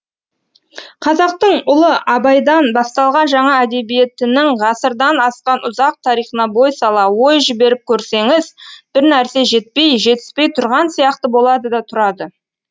қазақтың ұлы абайдан басталған жаңа әдебиетінің ғасырдан асқан ұзақ тарихына бой сала ой жіберіп көрсеңіз бір нәрсе жетпей жетіспей тұрған сияқты болады да тұрады